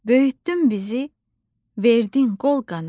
Böyütdün bizi, verdin qol-qanad.